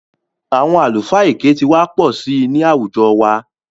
Àwọn àlùfáà èké ti wà pọ̀ sí i ní àwùjọ wa